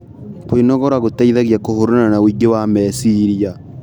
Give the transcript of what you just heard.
Kwĩnogora gũteĩthagĩa kũhũrana na ũĩngĩ wa mechĩrĩa